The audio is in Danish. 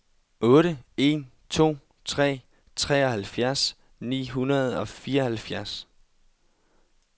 otte en to tre treoghalvfjerds ni hundrede og fireoghalvfjerds